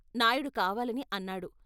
నాయుడు కావాలని అన్నాడు.